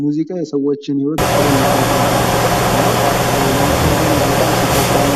ሙዚቃ የሰዎችን ህይወት ቀለል አድርጓል ብዬ አስባለሁ ለምሳሌ እኔ በጣም ሲከፋኝ